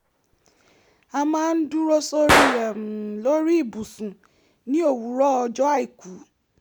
a máa ń dúró sórí um lórí ibùsùn ní òwúrọ̀ ọjọ́ àìkú